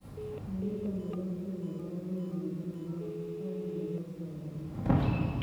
Mionitok nepo A netai kou miondoo nepo oneg nepo soromok